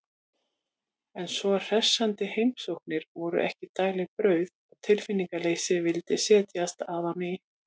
En svo hressandi heimsóknir voru ekki daglegt brauð og tilbreytingarleysið vildi setjast að á ný.